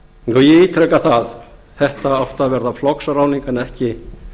þetta og ég ítreka það þetta átti að verða flokksráðning en ekki